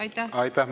Aitäh!